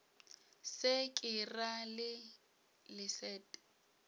se ke ra le leset